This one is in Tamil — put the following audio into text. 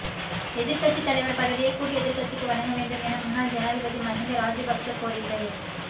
எதிர்க்கட்சி தலைவர் பதவியை கூட்டு எதிர்க்கட்சிக்கு வழங்க வேண்டும் என முன்னாள் ஜனாதிபதி மஹிந்த ராஜபக்ஷ கோரிக்கை